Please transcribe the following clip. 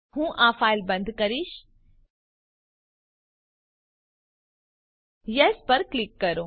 હું આ ફાઈલ બંધ કરીશ યેસ પર ક્લિક કરો